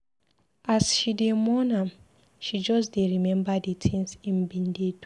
As she dey mourn am, she just dey remember di tins im bin dey do.